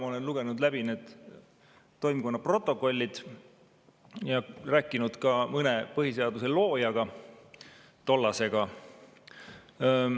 Ma olen lugenud läbi need toimkonna protokollid ja põhiseaduse mõne loojaga ka rääkinud.